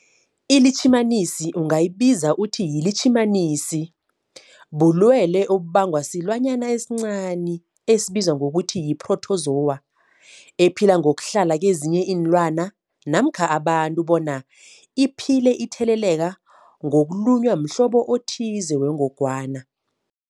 ILitjhimanisi ungayibiza uthiyilitjhimanisi, bulwelwe obubangwa silwanyana esincani esibizwa ngokuthiyi-phrotozowa ephila ngokuhlala kezinye iinlwana namkha abantu, bona iphile itheleleka ngokulunywa mhlobo othize wengogwana.